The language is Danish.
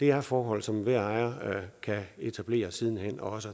er forhold som enhver ejer kan etablere siden hen og